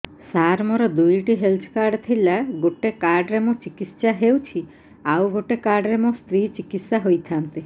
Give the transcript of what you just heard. ସାର ମୋର ଦୁଇଟି health card ଥିଲା ଗୋଟେ କାର୍ଡ ରେ ମୁଁ ଚିକିତ୍ସା ହେଉଛି ଆଉ ଗୋଟେ କାର୍ଡ ରେ ମୋ ସ୍ତ୍ରୀ ଚିକିତ୍ସା ହୋଇଥାନ୍ତେ